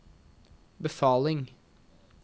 befaling